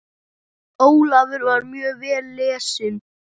Ólafur var mjög vel lesinn.